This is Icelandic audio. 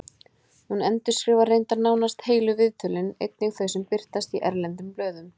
Hún endurskrifar reyndar nánast heilu viðtölin, einnig þau sem birtast í erlendum blöðum.